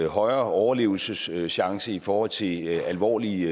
højere overlevelseschance i forhold til alvorlige